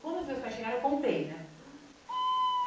Quando os meus pais chegaram, eu contei, né?